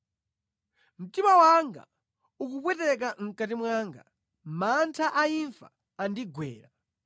Mtima wanga ukupweteka mʼkati mwanga; mantha a imfa andigwera.